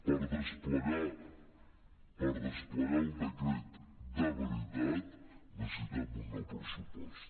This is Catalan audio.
per desplegar el decret de veritat necessitem un nou pressupost